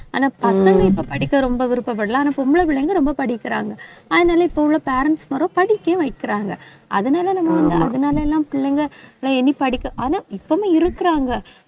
ஆனா பசங்க இப்ப படிக்க ரொம்ப விருப்பப்படலாம். ஆனா பொம்பளைப் பிள்ளைங்க ரொம்ப படிக்கிறாங்க. அதனால இப்ப உள்ள parents மாரும் படிக்கவும் வைக்கிறாங்க. அதனால நம்ம வந்து, அதனால எல்லாம் பிள்ளைங்க நான் இனி படிக்க ஆனா இப்பவும் இருக்கிறாங்க